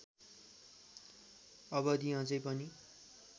अवधि अझै पनि